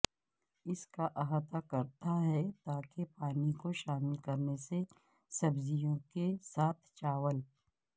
اس کا احاطہ کرتا ہے تاکہ پانی کو شامل کرنے سے سبزیوں کے ساتھ چاول